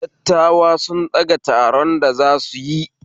Dattawa sun fɗaga taron da zasuyi